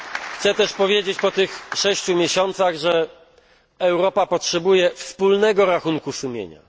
Chcę też powiedzieć, po tych sześciu miesiącach, że Europa potrzebuje wspólnego rachunku sumienia.